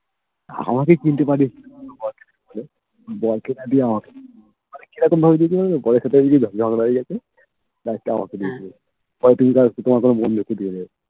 আমাকে কিনতে পারিস তোর বর কে না দিয়ে বর কে না দিয়ে আমাকে মানে কি রকম বৌ বুজতে পারছো তো ওর সাথে বুঝি ঝগড়া হয়ে গেছে last এ আমাকে দিয়ে দিয়েছে তোমার কোনো বন্ধুকে দিয়ে দিও